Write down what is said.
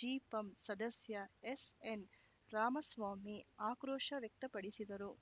ಜಿಪಂ ಸದಸ್ಯ ಎಸ್‌ಎನ್‌ ರಾಮಸ್ವಾಮಿ ಆಕ್ರೋಶ ವ್ಯಕ್ತಪಡಿಸಿದರು